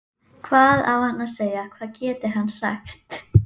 Hvað á hann að segja, hvað getur hann sagt?